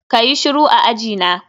kayi shiru a ajina